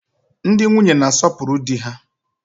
Ndị nwunye na-asopuru di ha.